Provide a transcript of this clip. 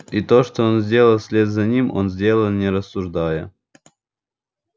и то что он сделал вслед за этим он сделал не рассуждая